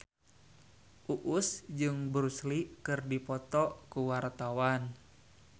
Uus jeung Bruce Lee keur dipoto ku wartawan